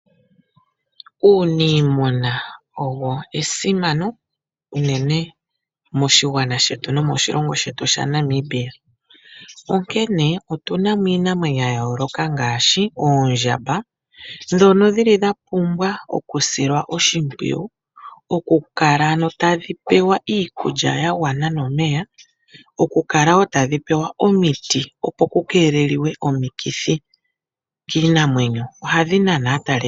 Uunimuna owo esimano unene moshigwana shetu nomoshilongo shetu Namibia, onkene otunamo iinamwenyo ya yooloka ngaashi oondjamba ndhono shili dhapumbwa oku silwa oshimpwiyu, okukala tadhi pewa iikulya ya gwana nomeya ,okukala woo tadhi pewa omiti opo ku keeleliwe omikithi kiinamwenyo. Ohadhi nana aataleli.